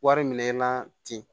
Wari minɛ na ten